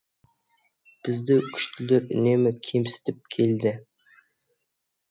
бізді күштілер үнемі кемсітіп келді